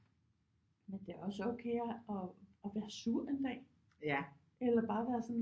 Men det er også okay at være sur en dag eller bare være sådan